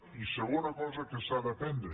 i segona cosa que s’ha d’aprendre